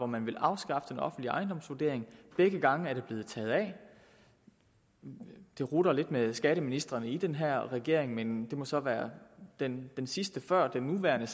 man ville afskaffe den offentlige ejendomsvurdering begge gange er det blevet taget af det rutter lidt med skatteministrene i den her regering men det må så være den sidste før den nuværende